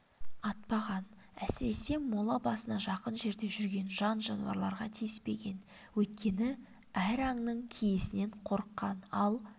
атпаған әсіресе мола басына жақын жерде жүрген жан-жануарларға тиіспеген өйткені әр аңның киесінен қорыққан ал